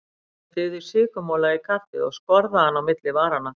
Sigurlaug dýfði sykurmola í kaffið og skorðaði hann á milli varanna.